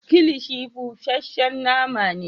Kilishi busashen nama ne.